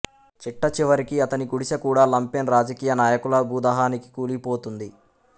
చిట్ట చివరికి అతని గుడిసెకూడా లంపెన్ రాజకీయ నాయకుల భూదాహానికి కూలిపోతుంది